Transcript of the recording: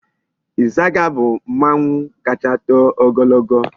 Izaga bu mmanwu kacha too ogologo